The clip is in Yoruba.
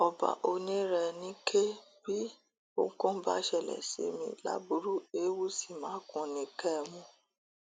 ọba onírèníke bí ohunkóhun bá ṣẹlẹ sí mi láburú ewuṣi makùn ni kẹ ẹ mú o